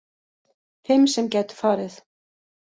Fimm sem gætu farið